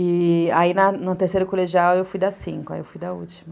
E aí no terceiro colegial eu fui da cinco, aí eu fui da última.